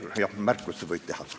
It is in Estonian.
Jah, märkusi võib teha.